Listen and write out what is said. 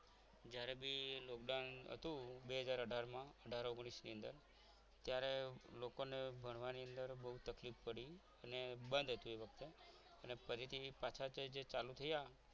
જ્યારે બી લોકડાઉન હતું બે હાજર આધાર માં અઢાર ઓગણીશ ની અંદર ત્યારે લોકોને ભણવાની અંદર બહુ તકલીફ પડતી હતી અને બંધ હતું એ વખતે અને ફરીથી પાછા જે ચાલુ થયા